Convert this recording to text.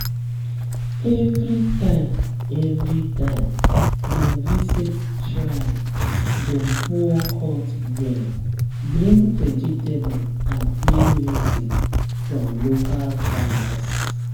every time every time dem visit shrine dem pour hot drink bring vegetable and play music from local farmers.